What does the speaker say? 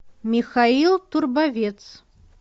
михаил турбовец